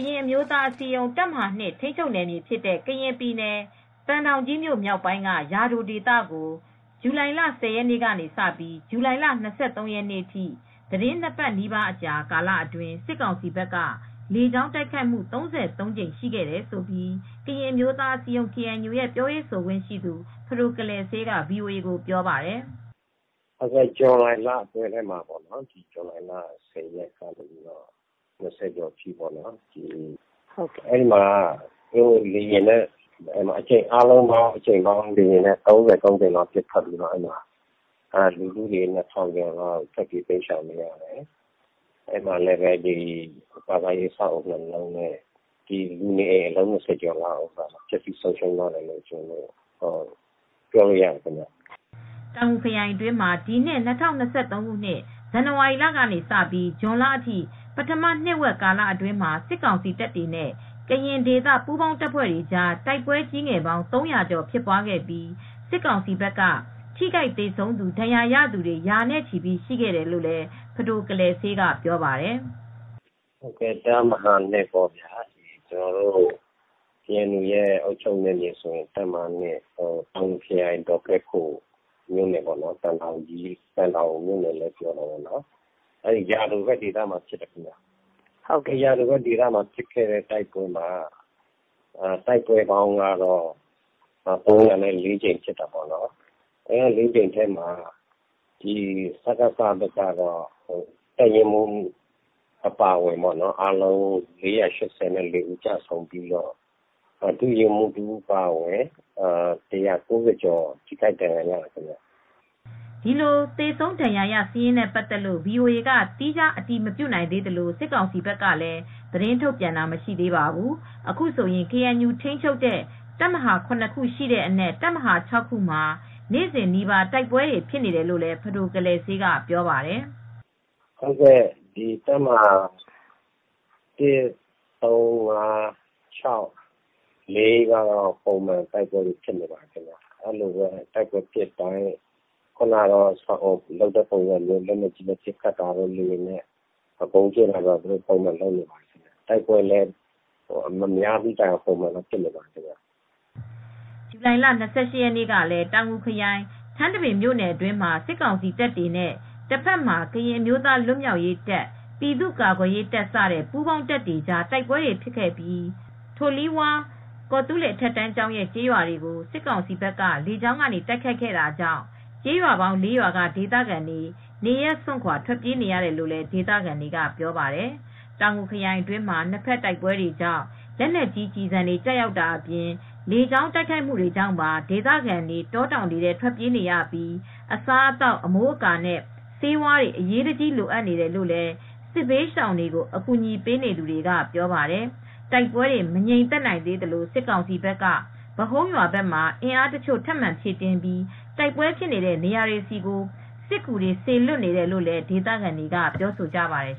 ရင်အမျိုးသားအစည်းအရုံး တပ်မဟာ ထိန်းချုပ်နယ်မြေဖြစ်တဲ့ ကရင်ပြည်နယ်၊ သံတောင်ကြီးမြို့ မြောက်ပိုင်းက ယာဒိုဒေသကို ဇူလိုင်လ ၁၀ ရက်နေ့ကစပြီး ဇူလိုင်လ၂၃ ရက်နေ့အထိ၊ သီတင်းနှစ်ပတ်နီးပါးကာလအတွင်းမှာ စစ်ကောင်စီဘက်က လေကြောင်းတိုက်ခိုက်မှု ၃၃ ကြိမ်အထိ ရှိခဲ့တယ်လို့ ကရင်အမျိုးသားအစည်းအရုံး ရဲ့ ပြောရေးဆိုခွင့်ရှိသူ ဖဒိုကလယ်စေးက ဗွီအိုအေကို ပြောပါတယ်။ "ဇူလိုင်လထဲမှာပေါ့။ ဇူလိုင် ၁၀ ရက်နေ့က ၂၀ ရက်ကျော်အတွင်း လေယာဉ်နဲ့က အကြိမ်ပေါင်း ၃၃ ကြိမ်လောက် ပစ်ခတ်တယ်။ လူဦးရေ ၂,၀၀၀ ကျော် ထွက်ပြေး တိမ်းရှောင်နေရတယ်။ ဘာသာရေး အဆောက်အဦး ၂ လုံး ပျက်စီးတယ်။ လူနေအိမ်တွေထဲက ဆိုရင်အလုံး ၂၀ ကျော် ပျက်စီး ဆုံးရှုံးသွားတယ်လို့ ပြောလို့ရတယ်။" တောင်ငူခရိုင်အတွင်းမှာ ဒီနှစ် ၂၀၂၃ ခုနှစ်၊ ဇန်နဝါရီလ ကနေ ဇွန်လအထိ ပထမနှစ်ဝက် ကာလအတွင်းမှာ စစ်ကောင်စီတပ်တွေနဲ့ ကရင်ဒေသ ပူးပေါင်း တပ်ဖွဲ့တွေကြား တိုက်ပွဲကြီးငယ်ပေါင်း ၃၀၀ ကျော် ဖြစ်ပွားခဲ့ပြီး စစ်ကောင်စီဘက်က ထိခိုက်သေဆုံးသူ၊ ဒဏ်ရာရသူတွေ ရာနဲ့ချီ ရှိခဲ့တယ်လို့လည်း ဖဒိုကလယ်စေးက ပြောပါတယ်။ "တပ်မဟာ ကေအန်ယူ အုပ်ချုပ်နယ်မြေ ဒေါကဲခို၊ သံတောင်မြို့နယ်လို့ ပြောလို့ရတယ်။ ယာဒိုဒေသမှာဖြစ်တဲ့ တိုက်ပွဲမှာ တိုက်ပွဲပေါင်း ၃၀၄ ကြိမ် ဖြစ်တယ်။ အဲဒီမှာ စကစဘက်က တပ်ရင်းမှူး အပါအဝင် ၄၈၄ ဦး ကျဆုံးပြီး ဒုရင်းမှူးအပါအဝင် ၁၉၀ ကျော် ထိခိုက်ဒဏ်ရာရတယ်။" ဒီလို သေဆုံးဒဏ်ရာရ စာရင်းနဲ့ပတ်သက်လို့ ဗွီအိုအေက သီးခြား အတည်မပြုနိုင်သေးသလို၊ စစ်ကောင်စီဘက်ကလည်း သတင်းထုတ်ပြန်တာ မရှိသေးပါဘူး။ အခုဆိုရင် ကေအန်ယူ ထိန်းချုပ်တဲ့ တပ်မဟာ ခု ရှိတဲ့အနက် တပ်မဟာ မှာ နေ့စဉ်နီးပါး တိုက်ပွဲတွေ ဖြစ်နေတယ်လို့လည်း ဖဒိုကလယ်စေးက ပြောပါတယ်။ "တပ်မဟာ ရော ပုံမှန်တော့ တိုက်ပွဲတွေ ဖြစ်နေတယ်။ တပ်မဟာ ဘက်ကတော့ တိုက်ပွဲ မများတဲ့ တိုင်အောင် ပုံမှန်တော့ တိုက်ပွဲတွေ ဖြစ်နေတယ်။ တိုက်ပွဲဖြစ်တိုင်း လက်နက်ကြီးနဲ့ပစ်ခတ်တာ လေယာဉ်နဲ့ ဗုံးကြဲတာတွေကတော့ ပုံမှန်တော့ လုပ်နေတာပါပဲ။" ဇူလိုင်လ ၂၈ ရက်နေ့ကလည်း တောင်ငူခရိုင်၊ ထန်းတပင်မြို့နယ် အတွင်းမှာ စစ်ကောင်စီတပ်တွေနဲ့ တဘက်မှာ ကရင်အမျိုးသား လွတ်မြောက်ရေးတပ်၊ ပြည်သူ့ကာကွယ်ရေး စတဲ့ ပူးပေါင်းတပ်တွေကြား တိုက်ပွဲဖြစ်ခဲ့ပြီး ထိုလွီဝါး ကော်သူးလေ အထက်တန်းကျောင်းနဲ့ ကျေးရွာတွေကို စစ်ကောင်စီက လေကြောင်းကနေ တိုက်ခိုက်ခဲ့တာကြောင့် ကျေးရွာပေါင်း ၄ ရွာက ဒေသခံတွေ နေရပ်စွန့် ခွာ ထွက်ပြေးနေရတယ်လို့ ဒေသခံတွေက ပြောပါတယ်။ တောင်ငူခရိုင်အတွင်းမှာ နှစ်ဘက်တိုက်ပွဲတွေကြောင့် လက်နက်ကြီး ကျည်ဆံတွေ ကျရောက်တာအပြင် လေကြောင်း တိုက်ခိုက်မှုတွေကြောင့်ပါ ဒေသခံတွေ တောတောင်တွေထဲ ထွက်ပြေးနေရပြီး အစားအသောက်၊ အမိုးအကာ နဲ့ ဆေးဝါးတွေ အရေးတကြီး လိုအပ်နေတယ်လို့ စစ်ဘေးရှောင်တွေကို အကူညီပေးနေသူတွေက ပြောပါတယ်။ တိုက်ပွဲတွေ မငြိမ်သက်နိုင်သေးသလို၊ စစ်ကောင်စီဘက်က ဗဟုန်းရွာဘက်မှာ အင်းအားတချို့ ထပ်မံ ဖြည့်တင်းပြီး တိုက်ပွဲဖြစ်နေတဲ့ နေရာတွေဆီကို စစ်ကူတွေ စေလွှတ်နေတယ်လို့လည်း ဒေသခံတွေက ပြောဆိုကြပါတယ်